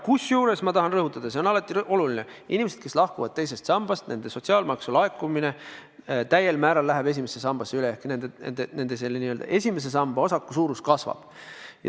Kusjuures ma tahan rõhutada – see on alati oluline –, et inimestel, kes lahkuvad teisest sambast, läheb sotsiaalmaksu laekumine täiel määral esimesse sambasse üle ehk nende esimese samba osaku suurus kasvab.